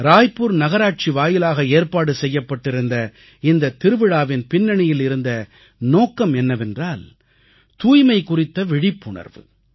ராய்ப்பூர் நகராட்சி வாயிலாக ஏற்பாடு செய்யப்பட்டிருந்த இந்தத் திருவிழாவின் பின்னணியில் இருந்த நோக்கம் என்னவென்றால் தூய்மை குறித்த விழிப்புணர்வு